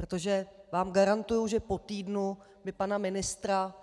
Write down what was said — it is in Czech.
Protože vám garantuji, že po týdnu by pana ministra